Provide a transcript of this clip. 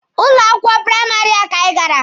N'ụlọ akwụkwọ praịmarị a ka anyi gara.